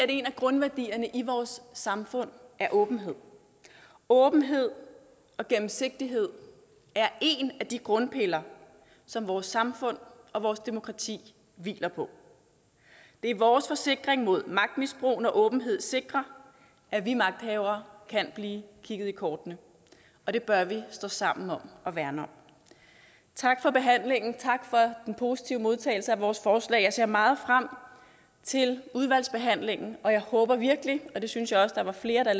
en af grundværdierne i vores samfund er åbenhed åbenhed og gennemsigtighed er en af de grundpiller som vores samfund og vores demokrati hviler på det er vores forsikring mod magtmisbrug når åbenhed sikrer at vi magthavere kan blive kigget i kortene og det bør vi stå sammen om at værne om tak for behandlingen og tak for den positive modtagelse af vores forslag jeg ser meget frem til udvalgsbehandlingen og jeg håber virkelig og det synes jeg også der er flere der